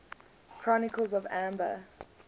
the chronicles of amber